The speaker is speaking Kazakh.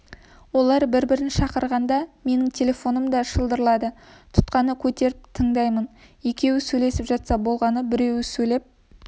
олар бір-бірін шақырғаңда менің телефоным да шылдырлайды тұтқаны көтеріп тындаймын екеуі сөйлесіп жатса болғаны біреуі сөйлеп